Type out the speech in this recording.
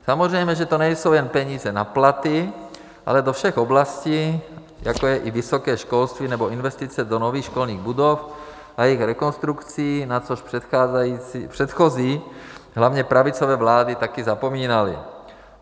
Samozřejmě že to nejsou jen peníze na platy, ale do všech oblastí, jako je i vysoké školství nebo investice do nových školních budov a jejich rekonstrukcí, na což předchozí, hlavně pravicové vlády taky zapomínaly.